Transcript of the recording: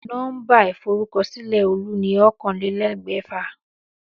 Nó̩mbà ìforúkosílè̩ Olú ni oókanlélé̩gbè̩fà